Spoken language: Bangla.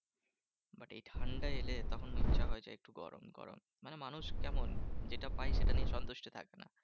But এই ঠান্ডা এলে তখন ইচ্ছা হয় যে, একটু গরম গরম। মানে মানুষ কেমন? যেটা পাই সেটা নিয়ে সন্তুষ্ট থাকে না।